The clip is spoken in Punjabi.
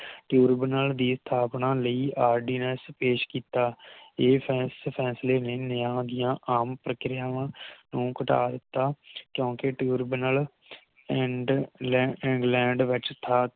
Tribunal ਦੀ ਸਥਾਪਨਾ ਲਈ ਆਰ ਡੀ ਨੇਸ਼ ਪੇਸ਼ ਕੀਤਾ ਇਸ ਫੇਸ ਫੈਸਲੇ ਨੇ ਨਿਆਂ ਦੀਆ ਆਮ ਪ੍ਰਕਿਰਿਆਵਾਂ ਨੂੰ ਘਟਾ ਦਿਤਾ ਕਿਉਕਿ Tribunal And England ਵਿਚ ਸਥਾ